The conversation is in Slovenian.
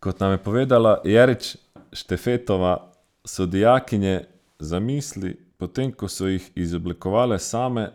Kot nam je povedala Jerič Štefetova, so dijakinje zamisli, potem ko so jih izoblikovale same,